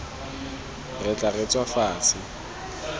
re tla re tswa fatshe